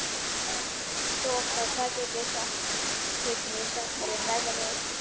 Þoka, hvað geturðu sagt mér um veðrið?